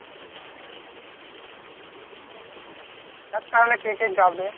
দেখ তাহলে কে কে যাবে?